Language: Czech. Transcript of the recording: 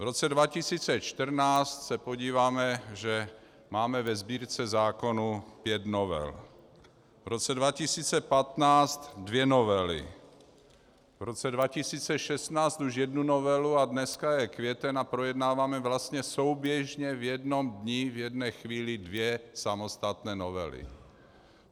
V roce 2014 se podíváme, že máme ve Sbírce zákonů pět novel, v roce 2015 dvě novely, v roce 2016 už jednu novelu - a dneska je květen a projednáváme vlastně souběžně v jednom dni v jedné chvíli dvě samostatné novely.